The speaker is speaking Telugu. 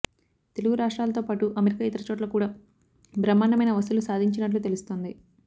తెలుగు రాష్ట్రాలతో పాటు అమెరికా ఇతర చోట్ల కూడా బ్రహ్మాండమైన వసూళ్లు సాధించినట్లు తెలుస్తుంది